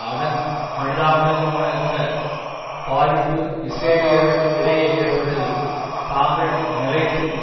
அதன் மனிதாபிமானமற்ற பாதிப்பு இஸ்ரேலியர்கள் இடையே ஏற்பட்டது தாங்கள் நிலைத்து